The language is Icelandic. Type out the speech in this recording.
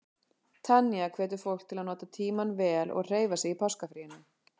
Tanya hvetur fólk til að nota tímann vel og hreyfa sig í páskafríinu.